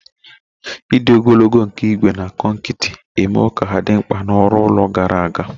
Ịdị ogologo nke ígwè na kọnkịtị emewo ka ha dị mkpa na ọrụ ụlọ gara aga